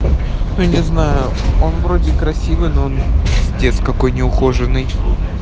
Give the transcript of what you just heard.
ну не знаю он вроде красивый но он пиздец какой неухоженный